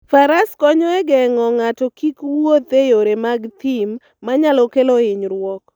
Faras konyo e geng'o ng'ato kik wuoth e yore mag thim manyalo kelo hinyruok.